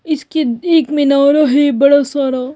इसके एक में नारा है बड़ा सारा।